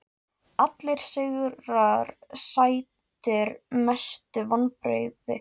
Kollar stapanna mega allir teljast hraundyngjur.